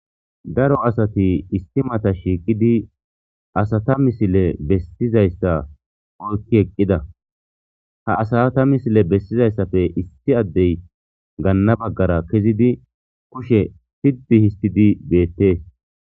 daro asati isssi mata shiiqidi asata misile bessizayssa oykki eqqida ha asata misile bessizayissappe issi addey gaanna baggara kezidi kushe sitti histidi beettees